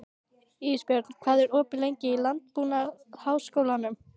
Ísbjörn, hvað er opið lengi í Landbúnaðarháskólanum?